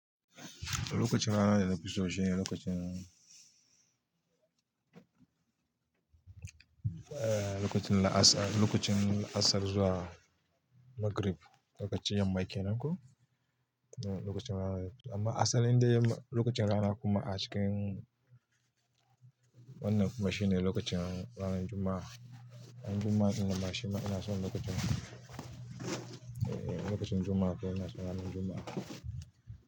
Lokacin rana da na fiso shine lokacin, la'asar, lokacin la'asar zuwa Magrib, lokacin yamma ke nan ko? Eh, lokacin rana. Amma asalin dai yamma, lokacin rana kuma a cikin wannan kuma shine lokacin ranar Juma'a. Ranar Juma'a ɗin nan ma shima ina son lokacin, eh, lokacin Juma'a ke nan, ina son ranar Juma'a.